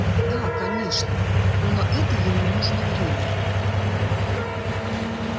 да конечно но на это ему нужно время